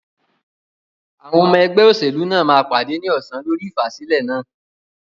Àwọn ọmọ ẹgbẹ́ òṣèlú náà máa pàdé ní ọsàn lórí ìfàsílẹ̀ náà.